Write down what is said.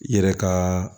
I yɛrɛ ka